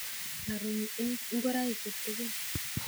aaruny ngoraichu tugul